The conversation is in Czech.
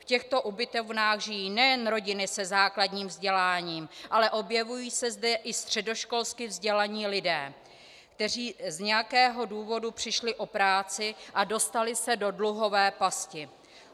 V těchto ubytovnách žijí nejen rodiny se základním vzděláním, ale objevují se zde i středoškolsky vzdělaní lidé, kteří z nějakého důvodu přišli o práci a dostali se do dluhové pasti.